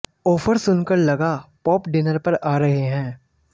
offer सुनकर लगा Pope dinner पर आ रहे हैं